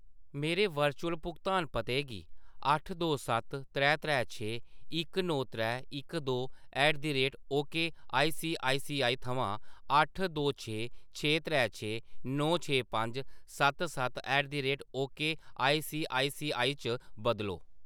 मेरे वर्चुअल भुगतान पते गी अट्ठ दो सत्त त्रै त्रै छे इक नौ त्रै इक दो at the rate ok ICICI आईसीआईसीआई थमां अट्ठ दो छे छे त्रै छे नौ छे पंज सत्त सत्त at the rate ok ICICI च बदलो।